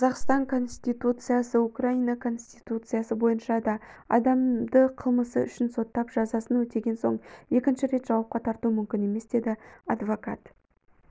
қазақстан конституциясы украина конституциясы бойынша да адамды қылмысы үшін соттап жазасын өтеген соң екінші рет жауапқа тарту мүмкін емес деді адвокат